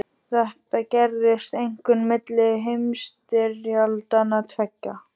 Þetta gerðist einkum milli heimsstyrjaldanna tveggja.